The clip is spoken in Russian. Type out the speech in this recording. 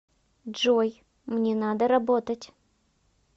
джой мне надо работать